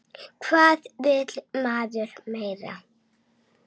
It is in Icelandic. Hvað vill maður meira?